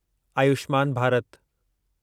Ayushman Bharat